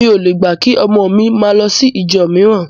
Mi ò le gbà kí ọmọ mi máa lọ sí ìjọ mìíràn